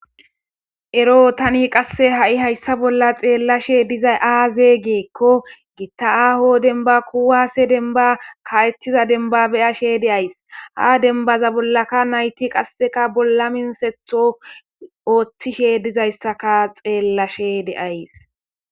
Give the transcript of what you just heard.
Ero tani qasse ha'i hayssa bolla xeellashe dizay aazee giikko gitta aho denban kuwase denba ka'ettiza denba beyashe de'ays ha denbaza bollaka nayti qasseka bolla minsetho ooththishe dizayssaka xeellashe de'ays.